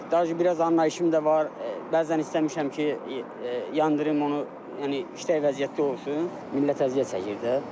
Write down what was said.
Dajə biraz anlayışım da var, bəzən istəmişəm ki, yandırım onu, yəni işlək vəziyyətdə olsun, millət əziyyət çəkir də.